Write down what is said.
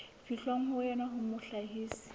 fihlwang ho yona ya mohlahisi